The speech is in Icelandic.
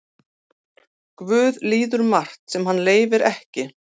Guð líður margt sem hann leyfir ekki.